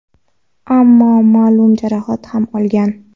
ammo ma’lum jarohat ham olgan.